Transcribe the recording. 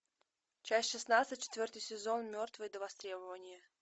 часть шестнадцать четвертый сезон мертвые до востребования